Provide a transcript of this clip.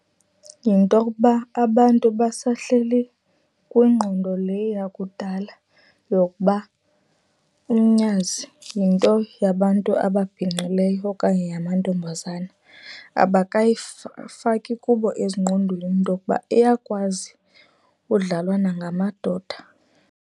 Yinto okuba abantu basahleli kwingqondo le yakudala yokuba umnyazi yinto yabantu ababhinqileyo okanye yamantombazana, kubo ezingqondweni intokuba iyakwazi udlalwa nangamadoda.